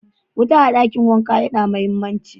Wuta a dakin wanka ya na mahimmanci.